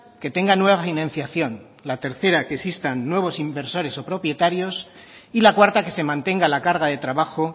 que tenga nueva financiación la tercera que existan nuevos inversores o propietarios y la cuarta que se mantenga la carga de trabajo